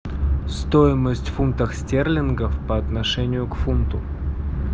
стоимость фунтов стерлингов по отношению к фунту